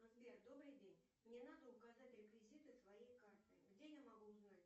сбер добрый день мне надо указать реквизиты своей карты где я могу узнать